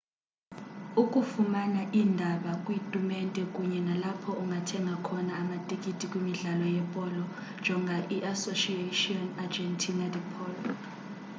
ukufumana iindaba kwiitumente kunye nalapho ungathenga khona amatikiti kwimidlalo yepolo jonga iasociacion argentina de polo